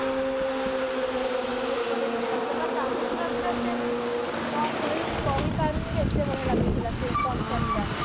ବହୁତ ବଢିଆ ଗୀତଟେ ଆଇଥିଲା ମାନେ ଲାଗୁଥିଲା ପୁରା ସେ ମାନେ ମୁ କଣ କହିବି ମୁ କହି ପାରୁନି ଯେ ଏତେ ବଢିଆ ଲାଗୁଥିଲା ସେ functionଟା